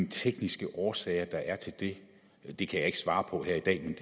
tekniske årsager der er til det det kan jeg ikke svare på her i dag